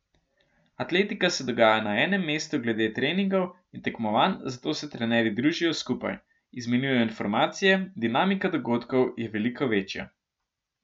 Atletika se dogaja na enem mestu glede treningov in tekmovanj, zato se trenerji družijo skupaj, izmenjujejo informacije, dinamika dogodkov je veliko večja.